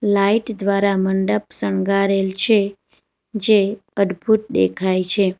Light દ્વારા મંડપ શણગારેલ છે જે અદભુત દેખાય છે.